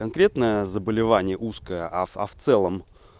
конкретное заболевание узкая а а в целом